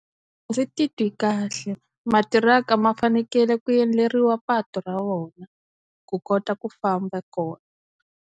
A ndzi titwi kahle matiraka ma fanekele ku endleriwa patu ra wona ku kota ku famba kona.